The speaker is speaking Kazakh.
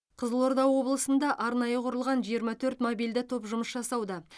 қызылорда облысында арнайы құрылған жиырма төрт мобильді топ жұмыс жасауда